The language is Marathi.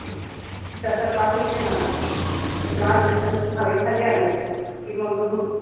तसा त्रास होत नाय मला पण त्रास झाला कि हवेखाली आलं कि मग होतो.